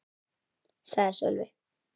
sagði Sölvi.